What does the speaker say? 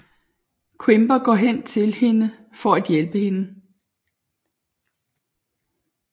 Quimper går hen til hende for at hjælpe hende